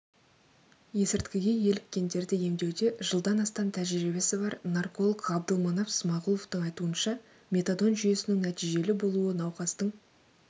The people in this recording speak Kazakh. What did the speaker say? есірткіге еліккендерді емдеуде жылдан астам тәжірибесі бар нарколог ғабдылманап смағұловтың айтуынша метадон жүйесінің нәтижелі болуы науқастың